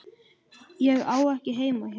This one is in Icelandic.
Ég á ekki heima hér.